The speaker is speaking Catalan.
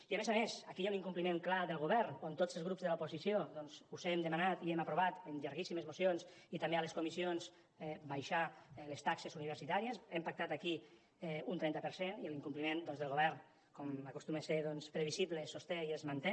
i a més a més aquí hi ha un incompliment clar del govern perquè tots els grups de l’oposició doncs us hem demanat i hem aprovat en llarguíssimes mocions i també a les comissions abaixar les taxes universitàries hem pactat aquí un trenta per cent i l’incompliment del govern com acostuma a ser previsible es sosté i es manté